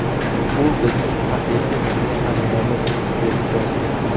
U bizning haqiqiy milliy xazinamiz”, dedi Jonson.